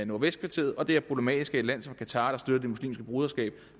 nordvestkvarteret og det er problematisk at et land som qatar der støtter det muslimske broderskab